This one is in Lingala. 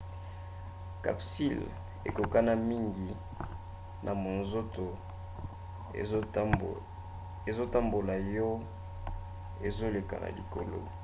capsule ekokokana mingi na monzoto ezotambola yo ezoleka na likolo